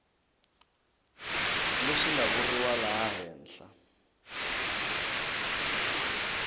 leswi nga vuriwa laha henhla